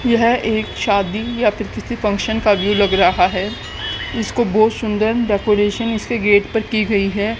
यह एक शादी या फिर किसी फंक्शन का व्यू लग रहा है इसको बहुत सुंदर डेकोरेशन इसके गेट पर की गई है।